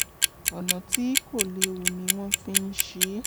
ọ̀nà tí kò léwu ni wọ́n fi ń ń ṣe é